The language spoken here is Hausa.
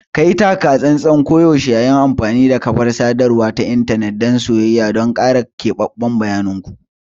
Kayi taka-tsantsan koyaushe yayin amfani da kafar sadarwa ta intanet dan soyayya don kare keɓaɓɓen bayanin ku.